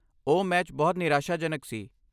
ਓਹ ਮੈਚ ਬਹੁਤ ਨਿਰਾਸ਼ਾਜਨਕ ਸੀ